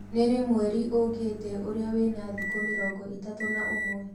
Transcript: ni rii mwerĩ ukiite ũrĩa wina thĩkũ mĩrongo itatu na umwe